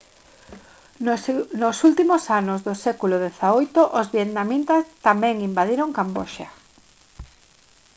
nos últimos anos do século xviii os vietnamitas tamén invadiron camboxa